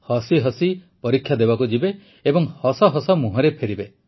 ହସି ହସି ପରୀକ୍ଷା ଦେବାକୁ ଯିବେ ଏବଂ ହସ ହସ ମୁହଁରେ ଫେରିବେ